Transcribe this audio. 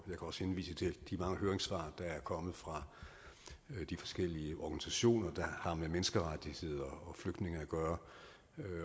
også henvise til de mange høringssvar der er kommet fra de forskellige organisationer der har med menneskerettigheder og flygtninge at gøre